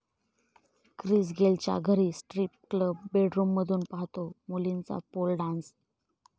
Chris गेलच्या घरी strip club, बेडरूममधून पाहतो मुलींचा पोल डान्स